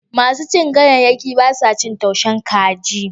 Masu cin ganyayyaki ba sa cin taushin kaji.